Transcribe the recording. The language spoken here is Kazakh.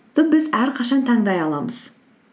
біз әрқашан таңдай аламыз